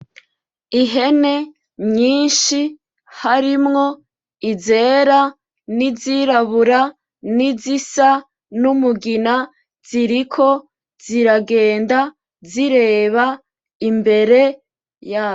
Ihene nyishi harimwo izera n'izirabura ni zisa n'umugina ziriko ziragenda zireba imbere yazo .